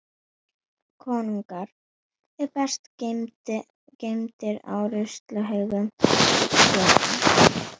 Konungar eru best geymdir á ruslahaug sögunnar.